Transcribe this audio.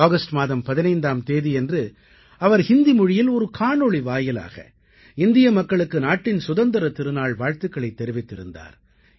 இந்த ஆகஸ்ட் மாதம் 15ஆம் தேதியன்று அவர் ஹிந்தி மொழியில் ஒரு காணொளி வாயிலாக இந்திய மக்களுக்கு நாட்டின் சுதந்திரத் திருநாள் வாழ்த்துக்களைத் தெரிவித்திருந்தார்